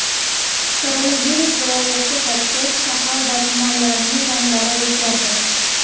Koronavirus viloyatga qaytgach , shahar va tumanlarning ranglari o‘zgardi .